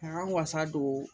K'an wasa don